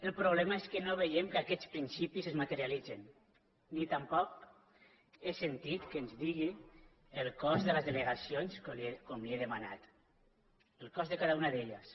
el problema és que no veiem que aquests principis es materialitzen ni tampoc he sentit que ens digui el cost de les delegacions com li he demanat el cost de cada una d’elles